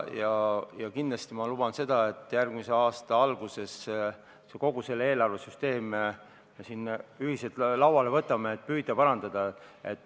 Ma kindlasti luban, et järgmise aasta alguses me võtame kogu selle eelarvesüsteemi ühiselt lauale, et püüda seda parandada.